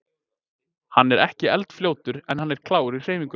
Hann er ekki eldfljótur en hann er klár í hreyfingum.